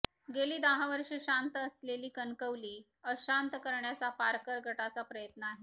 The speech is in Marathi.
गेली दहा वर्षे शांत असलेली कणकवली अशांत करण्याचा पारकर गटाचा प्रयत्न आहे